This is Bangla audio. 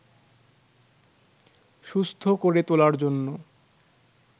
সুস্থ করে তোলার জন্য